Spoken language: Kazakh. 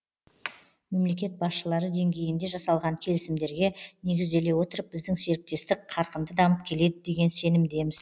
мемлекет басшылары деңгейінде жасалған келісімдерге негізделе отырып біздің серіктестік қарқынды дамып келеді деген сенімдеміз